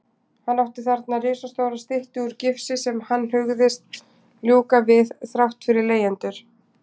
Hann átti þarna risastóra styttu úr gifsi sem hann hugðist ljúka við þrátt fyrir leigjendur.